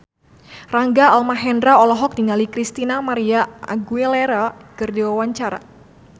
Rangga Almahendra olohok ningali Christina María Aguilera keur diwawancara